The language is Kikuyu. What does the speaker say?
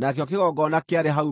Nakĩo kĩgongona kĩarĩ hau mbere ya hekarũ.